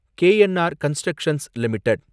KNR constructions limited